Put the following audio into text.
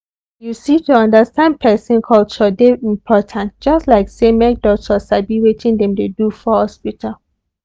you see to understand person culture dey important just like say make doctor sabi wetin dem dey do for hospital.